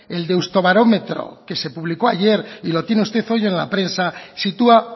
el deustobarómetro que se publicó ayer y lo tiene usted hoy en la prensa sitúa